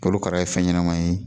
Korokara ye fɛn ɲɛnama ye